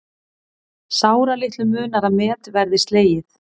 Sáralitlu munar að met verði slegið